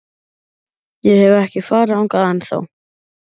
Ég hef ekki farið þangað ennþá.